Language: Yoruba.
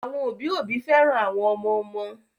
Àwọn òbí òbí féràn àwọn ọmọ ọmọ